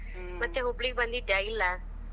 ಮತ್ ಹುಬ್ಬಳಿಗೆ ಬಂದಿದ್ಯಾ ಇಲ್ಲಾ?